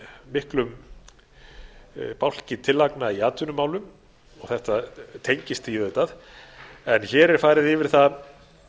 miklum bálki tillagna í atvinnumálum og þetta tengist því auðvitað en hér er farið yfir það